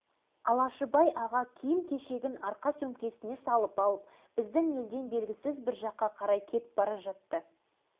әрқайсысымыз өзімізді болашақ чемпиондардай сезінетінбіз сол кезде бірақ бір күні бұл балалық қуанышымыз су сепкендей басылды